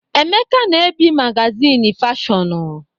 Emeka na-ebi magazịnị fashọnụ